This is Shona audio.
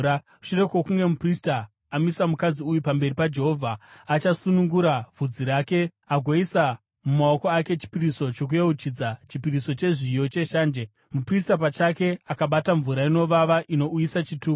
Shure kwokunge muprista amisa mukadzi uyu pamberi paJehovha, achasunungura vhudzi rake agoisa mumaoko ake chipiriso chokuyeuchidza, chipiriso chezviyo cheshanje, muprista pachake akabata mvura inovava inouyisa chituko.